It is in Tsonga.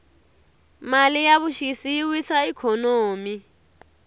mali ya vuxisi yi wisa ikhonomi